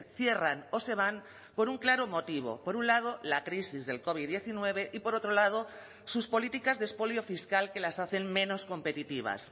cierran o se van por un claro motivo por un lado la crisis del covid diecinueve y por otro lado sus políticas de expolio fiscal que las hacen menos competitivas